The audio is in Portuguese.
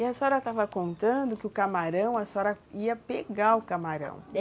E a senhora estava contando que o camarão, a senhora ia pegar o camarão.